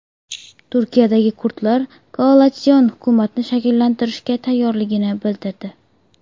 Turkiyadagi kurdlar koalitsion hukumatni shakllantirishga tayyorligini bildirdi.